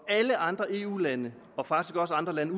alle andre eu lande og faktisk også andre lande